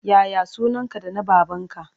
Ya ya sunanka da na babanka?